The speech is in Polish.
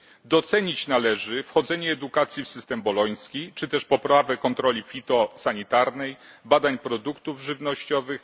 Docenić należy wchodzenie edukacji w system boloński, czy też poprawę kontroli fitosanitarnej w dziedzinie badań produktów żywnościowych.